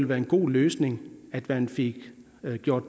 være en god løsning at man fik